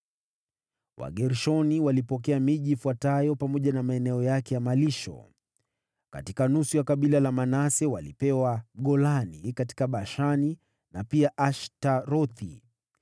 Wagershoni walipokea miji ifuatayo pamoja na maeneo yake ya malisho: Katika nusu ya kabila la Manase: walipewa Golani katika Bashani na pia Ashtarothi.